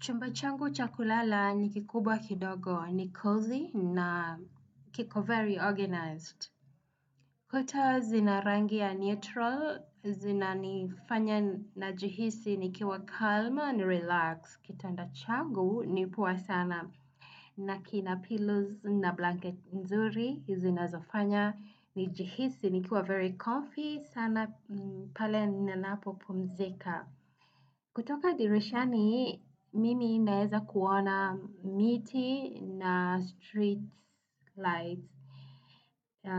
Chumba changu cha kulala ni kikubwa kidogo ni cozy na kiko very organized. Kuta zina rangi ya neutral, zinanifanya najihisi nikiwa calm and relaxed. Kitanda changu ni poa sana. Na kina pillows na blanket nzuri, zinazofanya, nijihisi nikiwa very comfy, sana pale ninapopumzika. Kutoka dirishani, mimi naezakuona miti na street lights.